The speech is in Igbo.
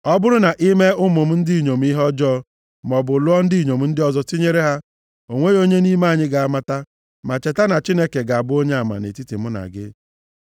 Ọ bụrụ na i mee ụmụ m ndị inyom ihe ọjọọ, maọbụ lụọ ndị inyom ndị ọzọ tinyere ha, o nweghị onye nʼime anyị ga-amata, ma cheta na Chineke ga-abụ onyeama nʼetiti mụ na gị.”